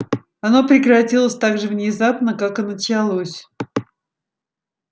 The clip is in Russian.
оно прекратилось так же внезапно как и началось